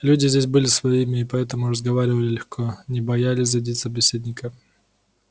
люди здесь были своими и поэтому разговаривали легко не боялись задеть собеседника